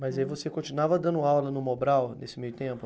Mas aí você continuava dando aula no Mobral nesse meio tempo?